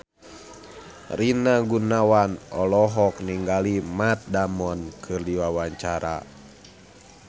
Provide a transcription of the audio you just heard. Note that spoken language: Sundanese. Rina Gunawan olohok ningali Matt Damon keur diwawancara